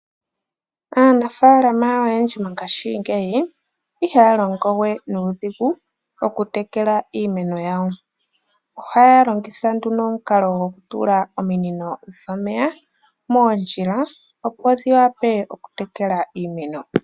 Aanafaalama oyendji ngaashingeyi ihaya longowe nuudhigu oku tekela iimeno yawo. Ohaya longitha nduno omukalo goku tula ominino dhomeya moondjila opo dhi wape oku tekela iimeno.